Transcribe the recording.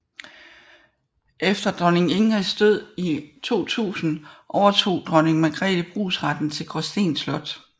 Efter dronning Ingrids død i 2000 overtog dronning Margrethe brugsretten til Gråsten Slot